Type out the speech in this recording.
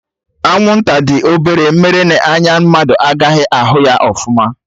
Anwụnta dị obere mere n'anya mmadụ agaghị ahụ ya ọfụma